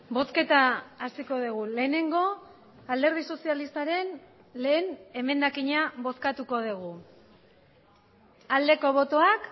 bozketa hasiko dugu lehenengo alderdi sozialistaren lehen emendakina bozkatuko dugu aldeko botoak